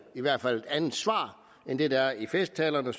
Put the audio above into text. i hvert fald et andet svar end det der er i festtalerne og